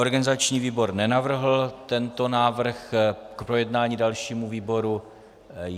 Organizační výbor nenavrhl tento návrh k projednání dalšímu výboru.